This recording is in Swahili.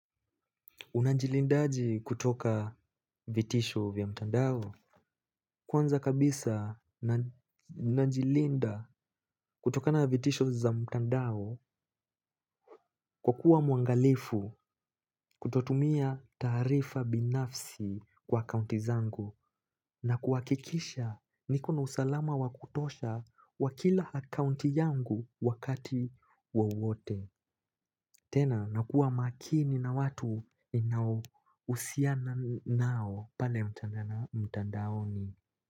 Unajilindaje kutoka vitisho vya mtandao? Kwanza kabisa, najilinda kutokana na vitisho za mtandao. Kwa kuwa muangalifu kutotumia taarifa binafsi kwa kaunti zangu na kuwakikisha niko na usalama wakutosha wakila akaunti yangu wakati wowote. Tena, nakua makini na watu ninaousiana nao, pale mtandaoni.